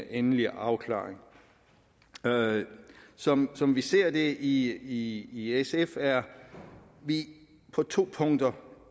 endelig afklaring som som vi ser det i i sf er vi på to punkter